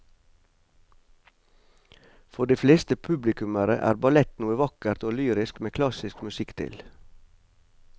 For de fleste publikummere er ballett noe vakkert og lyrisk med klassisk musikk til.